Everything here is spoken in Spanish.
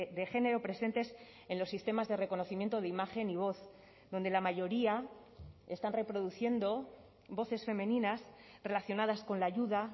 de género presentes en los sistemas de reconocimiento de imagen y voz donde la mayoría están reproduciendo voces femeninas relacionadas con la ayuda